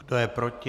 Kdo je proti?